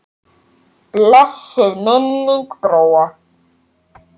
Blessuð sé minning Bróa.